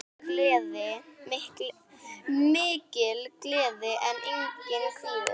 Mikil gleði en einnig kvíði.